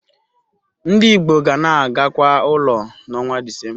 Ndị Igbo ga na-agakwa ụlọ n'ọnwa Disemba.